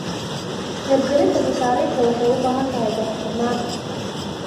Hirgelinta mashaariicda waxay u baahan tahay daahfurnaan